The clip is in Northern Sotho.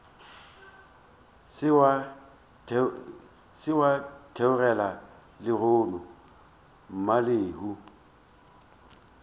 se wa theogela lehono mmalehu